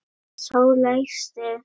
Sá lægsti.